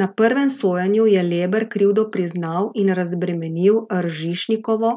Na prvem sojenju je Leber krivdo priznal in razbremenil Ržišnikovo,